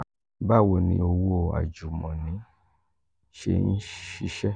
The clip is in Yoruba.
bawo ni owo ajumoni se n sise?